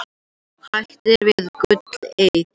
Hættir við gullleit